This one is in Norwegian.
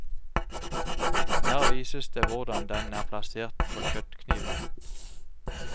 Her vises det hvordan den er plassert på kjøttkniven.